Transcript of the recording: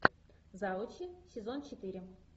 завучи сезон четыре